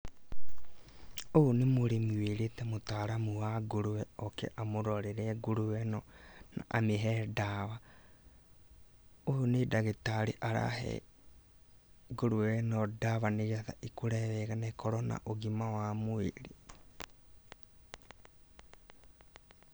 Ũyũ nĩ mũrĩmi wĩrĩte mũtaaramu wa ngũrũwe oke amũrorere ngũrũwe ĩno amĩhe ndawa. Ũyũ nĩ ndagĩtarĩ arahe ngũrũwe ĩno ndawa nĩ getha ĩkũre wega na ĩkorwo na ũgima wa mwĩrĩ.